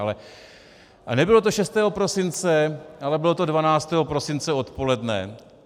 A nebylo to 6. prosince, ale bylo to 12. prosince odpoledne.